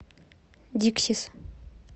диксис